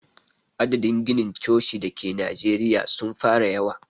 Adadin ginin coci da ke najeriya sun fara yawa.